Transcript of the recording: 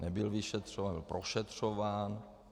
Nebyl vyšetřován nebo prošetřován...